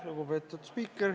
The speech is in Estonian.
Lugupeetud spiiker!